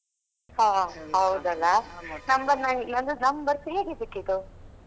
ಹೋ ಹೌದಲ್ಲಾ number ನ~ ನಂದು number ಹೇಗೆ ಸಿಕ್ಕಿತು?